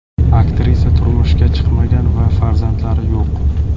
Aktrisa turmushga chiqmagan va farzandlari yo‘q.